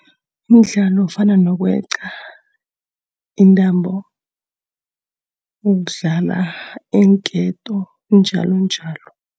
Imidlalo efana nokweqa intambo, ukudlala iinketo, njalonjalo.